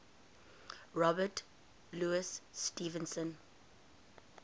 robert louis stevenson